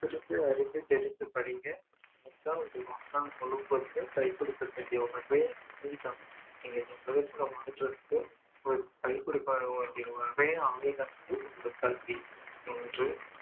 புரிந்து அறிந்து தெரிந்து படிங்க அது தான் உங்க வாழ்நாள் முழுக்கவுமே கைகொடுக்கும் உங்களுக்கு நீங்க